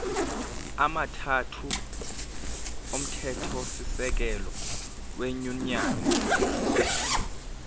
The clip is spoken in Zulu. amathathu omthethosisekelo wenyunyane